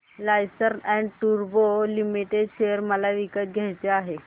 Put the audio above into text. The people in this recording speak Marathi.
लार्सन अँड टुर्बो लिमिटेड शेअर मला विकत घ्यायचे आहेत